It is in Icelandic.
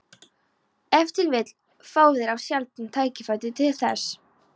Ef til vill fá þeir of sjaldan tækifæri til þess.